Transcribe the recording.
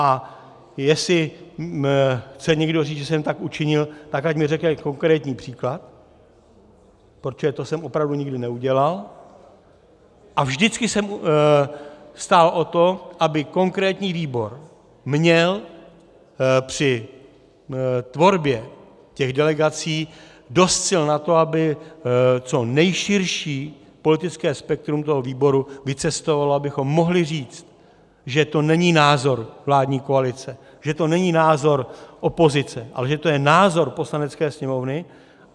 A jestli chce někdo říct, že jsem tak učinil, tak ať mi řekne konkrétní příklad, protože to jsem opravdu nikdy neudělal a vždycky jsem stál o to, aby konkrétní výbor měl při tvorbě těch delegací dost sil na to, aby co nejširší politické spektrum toho výboru vycestovalo, abychom mohli říct, že to není názor vládní koalice, že to není názor opozice, ale že to je názor Poslanecké sněmovny.